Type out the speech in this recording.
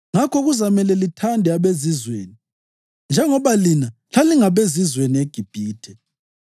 Ngakho kuzamele lithande abezizweni, njengoba lina lalingabezizweni eGibhithe.